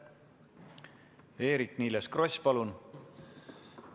Eerik-Niiles Kross, palun!